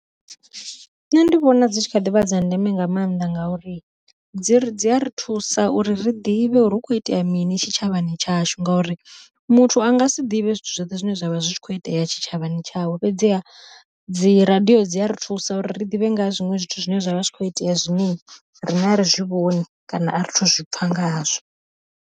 Nṋe ndi vhona dzi tshi kha ḓivha dza ndeme nga maanḓa ngauri dzi ri dzi a ri thusa uri ri ḓivhe uri hu kho itea mini tshitshavhani tshashu, ngori muthu a nga si ḓivhe zwithu zwoṱhe zwo zwavha zwi kho itea tshitshavhani tshawe. Fhedzi ha dzi radiyo dzi a ri thusa uri ri ḓivhe nga zwiṅwe zwithu zwine zwavha zwi kho itea zwine riṋe a ri zwivhoni, kana a ri thu zwipfha nga hazwo.